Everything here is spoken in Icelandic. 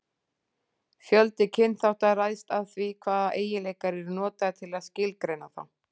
Fjöldi kynþátta ræðst af því hvaða eiginleikar eru notaðir til að skilgreina þá.